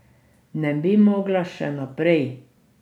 Ne bi mogla še naprej?